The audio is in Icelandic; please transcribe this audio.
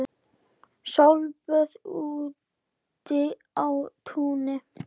Sólböð úti á túni.